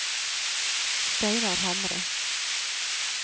Steinar Hamre